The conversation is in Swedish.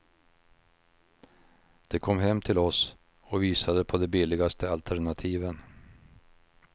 De kom hem till oss och visade på de billigaste alternativen.